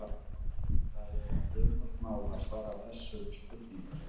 Það er ekki einfalt mál að svara þessum spurningum.